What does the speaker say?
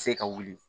Se ka wuli